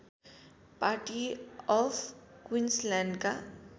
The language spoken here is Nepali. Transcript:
party of क्विन्सल्यान्डका